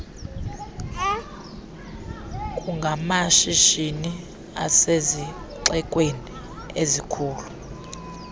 kungamashishini asezixekweni ezikhulu